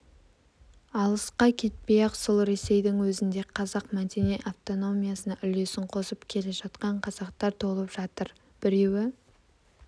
алысқа кетпей-ақ сол ресейдің өзінде қазақ мәдени автономиясына үлесін қосып келе жатқан қазақтар толып жатыр біреуі